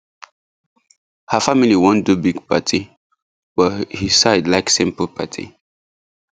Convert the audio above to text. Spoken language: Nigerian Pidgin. her family wan do big party but his side like simple party